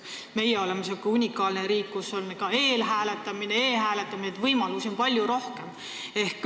Meie oleme selline unikaalne riik, kus on eelhääletamine ja ka e-hääletamine, võimalusi on palju rohkem.